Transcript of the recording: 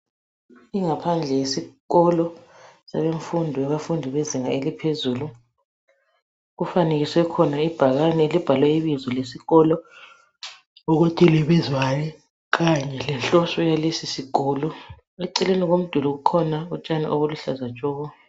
Ingaphandle yesikolo semfundo yabafundi bezinga eliphezulu. Kufanekiswe khona ibhakane elibhalwe ibizo lesikolo ukuthi libizwani kanye lenhloso yalesi sikolo. Eceleni komduli kukhona utshani obuluhlaza tshoko.